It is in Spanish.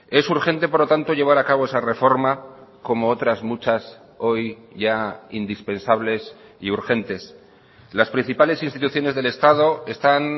es urgente por lo tanto llevar a cabo esa reforma como otras muchas hoy ya indispensables y urgentes las principales instituciones del estado están